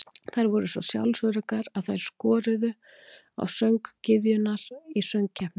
Þær voru svo sjálfsöruggar að þær skoruðu á söng-gyðjurnar í söng-keppni.